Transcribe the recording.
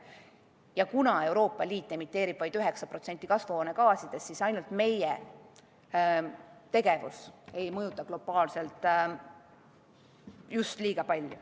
Ja kuna Euroopa Liit emiteerib vaid 9% kasvuhoonegaasidest, siis ainult meie tegevus ei mõjuta globaalselt just liiga palju.